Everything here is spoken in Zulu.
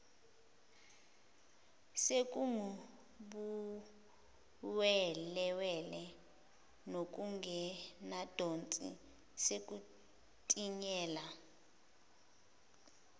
sekungubuwelewele nokungenadosi sekutinyela